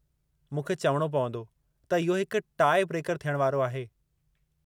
मूंखे चवणो पवंदो त इहो हिकु टाई-ब्रेकर थियणु वारो आहे।